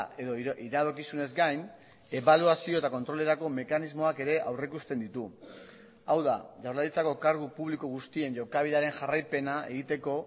edo iradokizunez gain ebaluazio eta kontrolerako mekanismoak ere aurrikusten ditu hau da jaurlaritzako kargu publiko guztien jokabidearen jarraipena egiteko